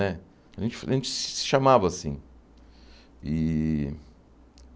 Né a gen a gente se chamava assim. E